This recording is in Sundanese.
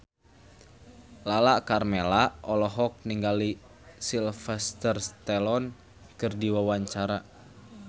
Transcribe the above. Lala Karmela olohok ningali Sylvester Stallone keur diwawancara